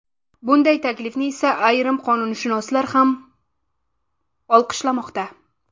Bunday taklifni esa ayrim qonunshunoslar ham olqishlamoqda.